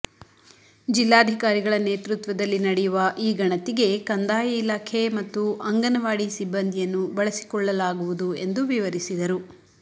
ಜಿಲ್ಲಾಧಿಕಾರಿಗಳ ನೇತೃತ್ವದಲ್ಲಿ ನಡೆಯುವ ಈ ಗಣತಿಗೆ ಕಂದಾಯ ಇಲಾಖೆ ಮತ್ತು ಅಂಗನವಾಡಿ ಸಿಬ್ಬಂದಿಯನ್ನು ಬಳಸಿಕೊಳ್ಳಲಾಗುವುದು ಎಂದು ವಿವರಿಸಿದರು